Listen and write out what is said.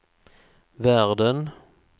världen